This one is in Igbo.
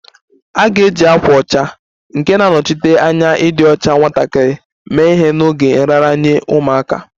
A ga-eji ákwà ọcha nke na-anọchite anya ịdị ọcha nwatakịrị mee ihe n'oge nraranye ụmụaka